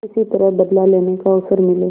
किसी तरह बदला लेने का अवसर मिले